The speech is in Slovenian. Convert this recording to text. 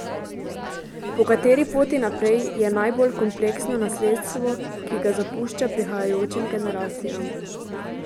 Po kateri poti naprej, je najbolj kompleksno nasledstvo, ki ga zapušča prihajajočim generacijam.